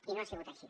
i no ha sigut així